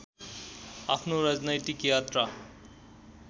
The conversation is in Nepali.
आफ्नो राजनैतिक यात्रा